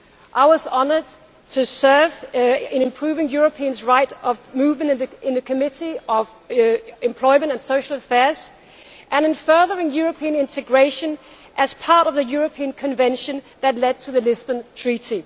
I was honoured to serve in improving Europeans' right of movement, in the Committee on Employment and Social Affairs, and in furthering European integration as part of the European Convention that led to the Lisbon Treaty.